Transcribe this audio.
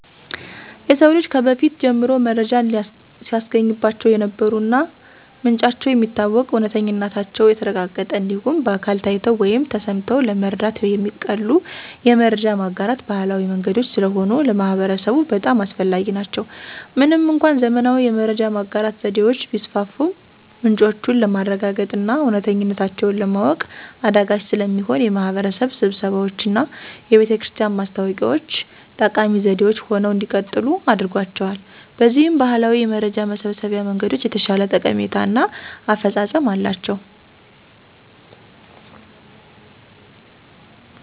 የሰው ልጅ ከበፊት ጀምሮ መረጃን ሲያገኝባቸው የነበሩ እና ምንጫቸው የሚታወቅ፣ እውነተኝነታቸው የተረጋገጠ እንዲሁም በአካል ታይተው ወይም ተሰምተው ለመረዳት የሚቀሉ የመረጃ ማጋራት ባህላዊ መንገዶች ስለሆኑ ለማህበረሰቡ በጣም አስፈላጊ ናቸው። ምንም እንኳን ዘመናዊ የመረጃ ማጋራት ዘዴዎች ቢስፋፉም ምንጮቹን ለማረጋገጥና እውነተኝነታቸውን ለማወቅ አዳጋች ስለሚሆን የማህበረሰብ ስብሰባዎችና የቤተክርስቲያን ማስታወቂያ ዎች ጠቃሚ ዘዴዎች ሆነው እንዲቀጥሉ አድርጓቸዋል። በዚህም ባህላዊ የመረጃ መሰብሰቢያ መንገዶች የተሻለ ጠቀሜታ እና አፈፃፀም አላቸው።